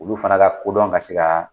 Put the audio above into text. Olu fana ka kodɔn ka se